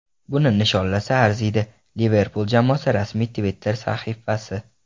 Buni nishonlasa arziydi”, – Liverpul jamoasi rasmiy Twitter-sahifasi.